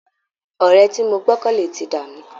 Ọ̀rẹ́ tí mo gbọ́kànlé ti dà mí